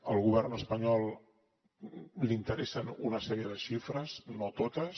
al govern espanyol li interessen una sèrie de xifres no totes